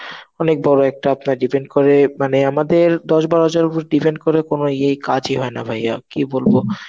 অনেক বড় একটা আপনার depend করে মানে আমাদের দশ বারো হাজার উপর depend করে কোন ইয়ে কাজই হয় না ভাই. আর কি বলবো?